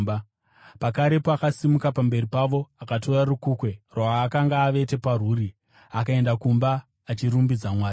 Pakarepo akasimuka pamberi pavo, akatora rukukwe rwaakanga avete parwuri akaenda kumba achirumbidza Mwari.